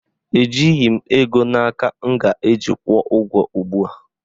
Ejighị m ego na aka m ga-eji kwụọ ụgwọ ugbua